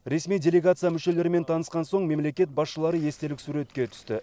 ресми делегация мүшелерімен танысқан соң мемлекет басшылары естелік суретке түсті